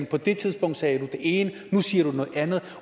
på det tidspunkt sagde du det ene og nu siger du noget andet